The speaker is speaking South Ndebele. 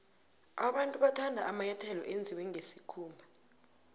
abantu bathanda amanyathelo enziwe nqesikhumba